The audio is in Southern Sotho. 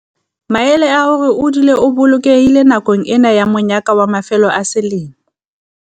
Maele a hore o dule o bolokehile nakong ena ya monyaka wa mafelo a selemo